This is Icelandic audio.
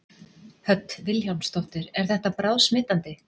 Hödd Vilhjálmsdóttir: Er þetta bráðsmitandi?